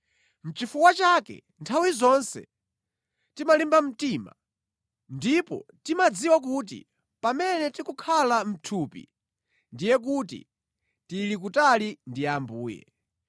Nʼchifukwa chake nthawi zonse timalimba mtima, ndipo timadziwa kuti pamene tikukhala mʼthupi, ndiye kuti tili kutali ndi Ambuye.